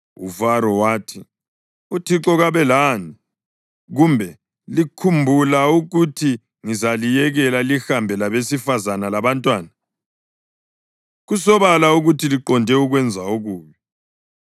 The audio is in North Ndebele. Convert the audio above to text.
UFaro wathi, “ uThixo kabe lani, kumbe likhumbula ukuthi ngizaliyekela lihambe labesifazane labantwana! Kusobala ukuthi liqonde ukwenza okubi.